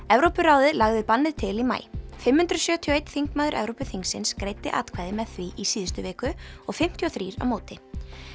Evrópuráðið lagði bannið til í maí fimm hundruð sjötíu og eitt þingmaður Evrópuþingsins greiddi atkvæði með því í síðustu viku og fimmtíu og þrjú á móti